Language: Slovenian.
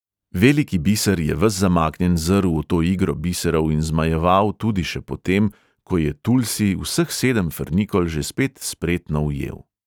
Veliki biser je ves zamaknjen zrl v to igro biserov in zmajeval tudi še po tem, ko je tulsi vseh sedem frnikol že spet spretno ujel.